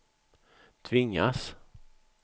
tvingas